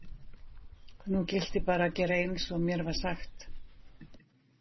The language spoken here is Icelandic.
Nú gilti bara að gera eins og mér var sagt.